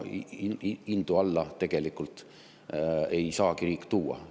Hindu alla tegelikult ei saagi riik tuua.